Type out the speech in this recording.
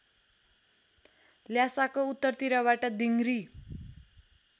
ल्हासाको उत्तरतिरबाट दिङरी